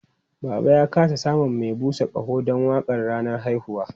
Baba ya ƙasa samun mai busa ƙaho don waƙar ranar haihuwa.